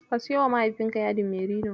Ka siyowa mahaifinka yadin merino.